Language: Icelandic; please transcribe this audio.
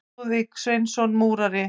Lúðvík Sveinsson múrari.